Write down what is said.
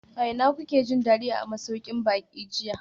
A ina kuke jin dadi a masaukin baki jiya?